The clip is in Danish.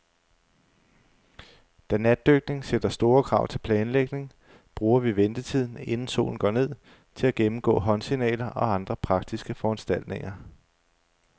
Da natdykning sætter store krav til planlægning, bruger vi ventetiden, inden solen går ned, til at gennemgå håndsignaler og andre praktiske foranstaltninger.